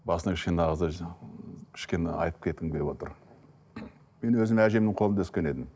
басында кішкене кішкене айтып кеткім келіп отыр мен өзім әжемнің қолында өскен едім